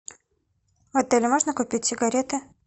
в отеле можно купить сигареты